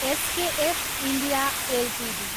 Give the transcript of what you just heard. SKF India Ltd